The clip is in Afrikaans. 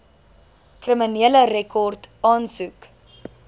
kriminele rekord aansoek